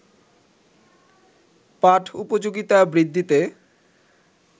পাঠ-উপযোগিতা বৃদ্ধিতে